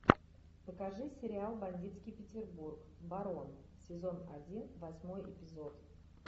покажи сериал бандитский петербург барон сезон один восьмой эпизод